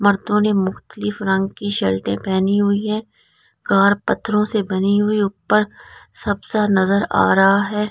Shirt पहनी हुई है कार पत्थरों से बनी हुई है ऊपर सबसे नजर आ रहा है।